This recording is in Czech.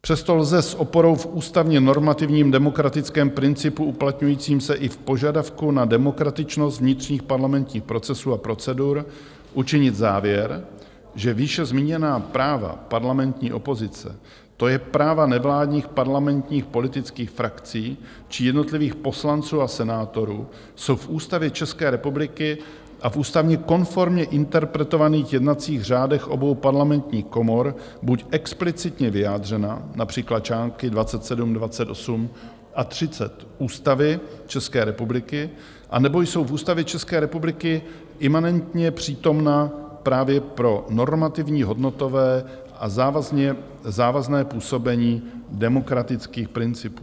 Přesto lze s oporou v ústavně normativním demokratickém principu uplatňujícím se i v požadavku na demokratičnost vnitřních parlamentních procesů a procedur učinit závěr, že výše zmíněná práva parlamentní opozice, to je práva nevládních parlamentních politických frakcí či jednotlivých poslanců a senátorů, jsou v Ústavě České republiky a v ústavně konformně interpretovaných jednacích řádech obou parlamentních komor buď explicitně vyjádřena, například články 27, 28 a 30 Ústavy České republiky, anebo jsou v Ústavě České republiky imanentně přítomna právě pro normativní, hodnotové a závazné působení demokratických principů.